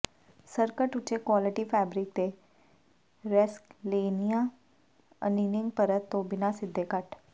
skirt ਉੱਚੇ quality fabric ਦੇ ਰੈਸਕਲੇਸਨੀਆ ਅਨੀਨਿੰਗ ਪਰਤ ਤੋਂ ਬਿਨਾਂ ਸਿੱਧੇ ਕੱਟ